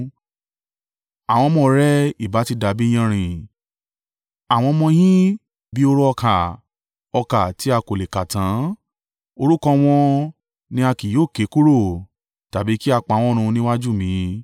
Àwọn ọmọ rẹ ìbá ti dàbí iyanrìn, àwọn ọmọ yín bí i hóró ọkà tí a kò lè kà tán; orúkọ wọn ni a kì yóò ké kúrò tàbí kí a pa wọ́n run níwájú mi.”